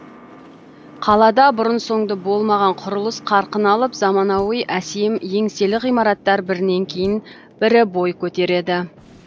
қалада бұрын соңды болмаған құрылыс қарқын алып заманауи әсем еңселі ғимараттар бірінен кейін бірі бой көтереді